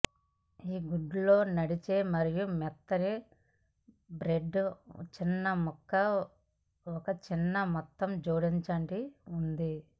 ఈ గుడ్డు లో నడిచే మరియు మెత్తని బ్రెడ్ చిన్న ముక్క ఒక చిన్న మొత్తం జోడించండి ఉంది